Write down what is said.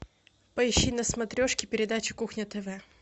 поищи на смотрешке передачу кухня тв